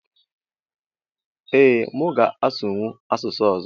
Ee mu ga asụnwụ asụsụ ọzọ